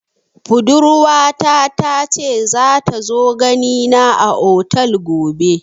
Budurwa ta ta ce za ta zo gani na a otel gobe